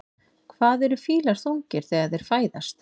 Hvað eru fílar þungir þegar þeir fæðast?